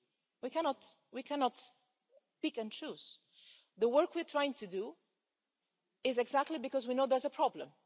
We cannot can pick and choose. The work we're trying to do is exactly because we know there's a problem.